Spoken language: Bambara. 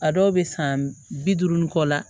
A dɔw bɛ san bi duuru ni kɔ la